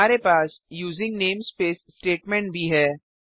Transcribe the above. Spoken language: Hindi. हमारे पास यूजिंग नेमस्पेस स्टेटमेंट भी है